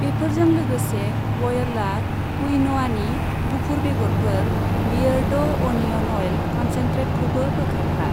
बेफोरजों लोगोसे व'यला कुइन'आनि गुफुर बेगरफोर, बियेरड' अनिअन अइल कनसेन्ट्रेटखौबो बोखारफा।